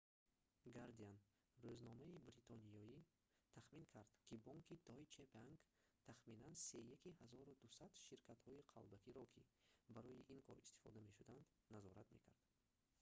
гардиан рӯзномаи бритониё тахмин кард ки бонки deutsche bank тахминан сеяки 1200 ширкатҳои қалбакиро ки барои ин кор истифода мешуданд назорат мекард